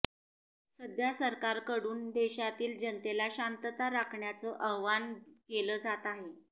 सध्या सरकारकडून देशातील जनतेला शांतता राखण्याचं आवाहन केलं जात आहे